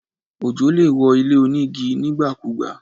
Ojò lè wó ilé onígi nígbàkúùgbà.